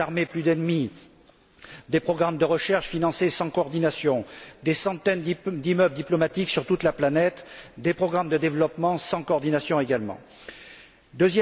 Vingt sept armées, plus d'ennemis, des programmes de recherche financés sans coordination, des centaines d'immeubles diplomatiques sur toute la planète, des programmes de développement sans coordination non plus.